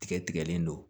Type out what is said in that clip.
Tigɛ tigɛlen don